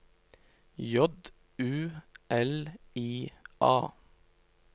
J U L I A